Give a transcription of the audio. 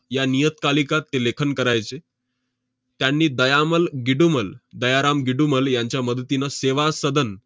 या नियतकालिकात ते लेखन करायचे. त्यांनी दयामल गिडुमल~ दयाराम गिडुमल यांच्या मदतीनं सेवा सदन